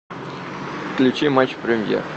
включи матч премьер